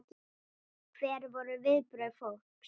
Hver voru viðbrögð fólks?